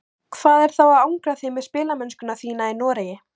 Hvað er þá að angra þig með spilamennsku þína í Noregi?